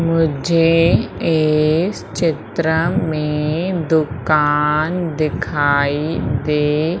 मुझे इस चित्र में दुकान दिखाई दे--